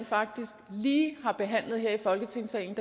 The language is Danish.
faktisk lige har behandlet her i folketingssalen